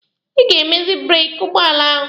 Ị ga-emezi breeki ụgbọala ahụ.